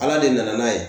Ala de nana n'a ye